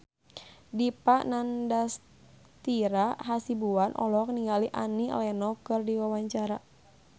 Dipa Nandastyra Hasibuan olohok ningali Annie Lenox keur diwawancara